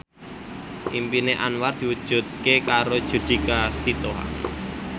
impine Anwar diwujudke karo Judika Sitohang